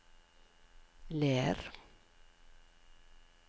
Ler